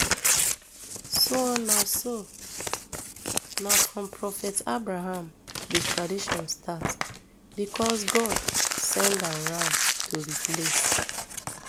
so na so na from prophet abraham di tradition start becos god send am ram to replace